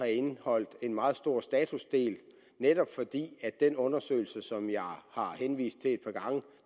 indeholdt en meget stor statusdel netop fordi den undersøgelse som jeg har henvist til et par gange